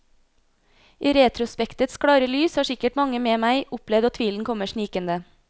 I retrospektets klare lys har sikkert mange med meg opplevd at tvilen kommer snikende.